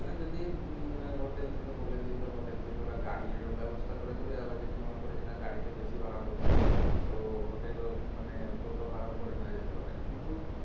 যদি উম hotel থেকে বলে দিতো hotel থেকে ওরা গাড়ির ব্যবস্থা করে দিবে আবার যদি মনে করি যে না গাড়ি তে বেশি ভাড়া পড়ছে তো hotel এর ওখানে টোটো ভাড়া ও করে নেওয়া যেতে পারে এবারে,